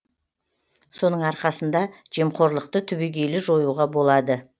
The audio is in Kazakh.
соның арқасында жемқорлықты түбегейлі жоюға болады